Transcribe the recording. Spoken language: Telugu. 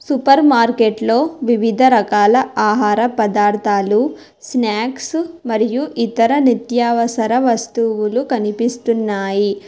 సూపర్ మార్కెట్లో వివిధ రకాల ఆహార పదార్థాలు స్నాక్సు మరియు ఇతర నిత్యావసర వస్తువులు కనిపిస్తున్నాయి.